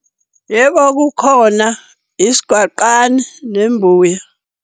Yebo, kukhona isigwaqane, nembuya.